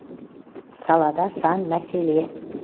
салада сан мәселе